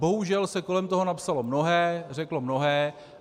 Bohužel se kolem toho napsalo mnohé, řeklo mnohé.